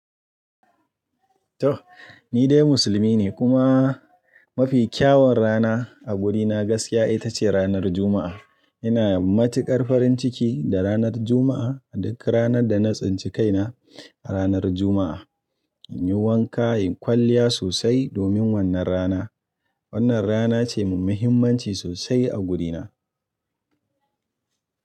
Toh ni dai musulmi ne kuma mafi kyawun rana a gurina gaskiya ita ce ranar Juma'a. Ina matukar farin ciki da ranar Juma'a. Duk ranar da na tsinci kaina a ranar Juma'a, in yi wanka, in yi kwalliya sosai domin wannan rana. Wannan rana ce mai muhimmanci sosai a gurina.